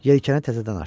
Yelkəni təzədən açdı.